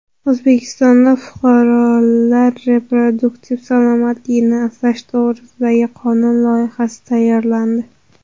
O‘zbekistonda fuqarolar reproduktiv salomatligini asrash to‘g‘risidagi qonun loyihasi tayyorlandi.